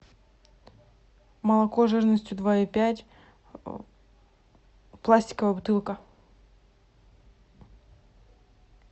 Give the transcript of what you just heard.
молоко жирностью два и пять пластиковая бутылка